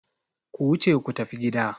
Ku wuce ku tafi gida!